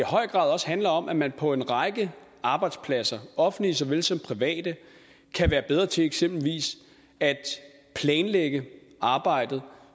høj grad også handler om at man på en række arbejdspladser offentlige såvel som private kan være bedre til eksempelvis at planlægge arbejdet